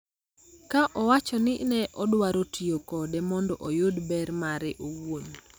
ka owacho ni ne odwaro tiyo kode mondo oyud ber mare owuon.